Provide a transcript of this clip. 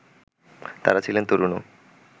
তারা ছিলেন তরুণও